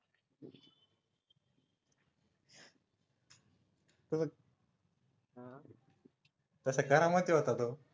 तसा करामती होता तो